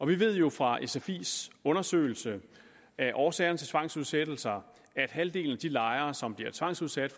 vi ved jo fra sfis undersøgelse af årsagerne til tvangsudsættelser at halvdelen af de lejere som bliver tvangsudsat